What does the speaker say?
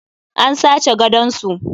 An sace gadon su.